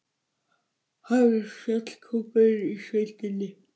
Hann var fjallkóngurinn í sveitinni.